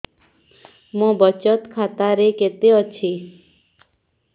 ମୋ ବଚତ ଖାତା ରେ କେତେ ଅଛି